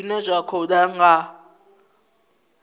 zwine zwa khou ḓa nga